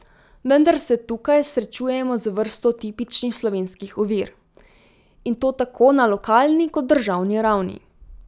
Vendar se tukaj srečujemo z vrsto tipičnih slovenskih ovir, in to tako na lokalni kot državni ravni.